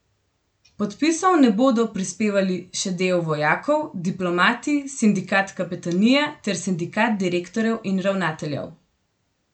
Podpisov ne bodo prispevali še del vojakov, diplomati, sindikat kapetanije ter sindikat direktorjev in ravnateljev.